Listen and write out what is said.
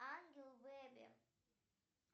ангел бейби